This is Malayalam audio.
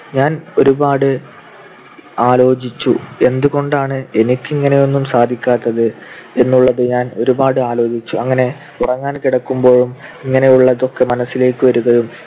ഞാൻ ഒരുപാട് ആലോചിച്ചു. എന്തുകൊണ്ടാണ് എനിക്ക് ഇങ്ങനെയൊന്നും സാധിക്കാത്തത് എന്നുള്ളത് ഞാൻ ഒരുപാട് ആലോചിച്ചു. അങ്ങനെ ഉറങ്ങാൻ കിടക്കുമ്പോഴും ഇങ്ങനെയുള്ളതൊക്കെ മനസ്സിലേക്ക് വരികയും